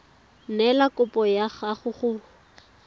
neela kopo ya gago go